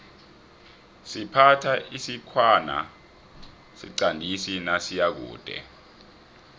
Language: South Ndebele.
siphatha isikhwana siqandisi nasiyakude